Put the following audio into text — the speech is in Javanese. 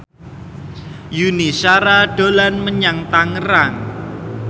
Yuni Shara dolan menyang Tangerang